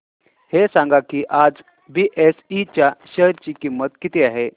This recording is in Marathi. हे सांगा की आज बीएसई च्या शेअर ची किंमत किती आहे